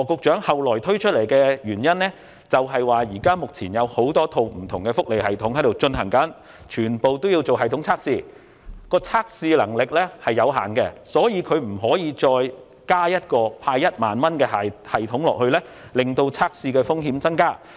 之後，羅局長又表示，目前有多套不同的福利系統均須進行系統測試，但測試能力有限，因此不能增設派發1萬元的系統，免致測試風險增加。